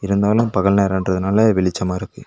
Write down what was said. இருந்தாலு பகல் நேரன்றதுனால வெளிச்சமா இருக்கு.